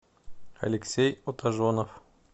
алексей отажонов